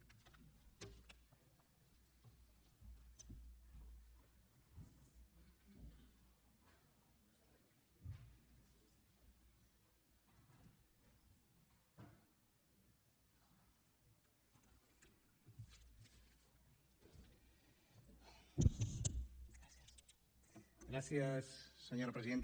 gràcies senyora presidenta